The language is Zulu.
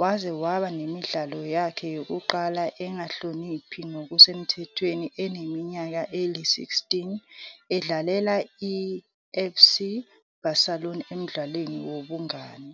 waze waba nemidlalo yakhe yokuqala engakahloniphi ngokusemthethweni eneminyaka eli-16, edlalela iFC Barcelona emdlalweni wobungani.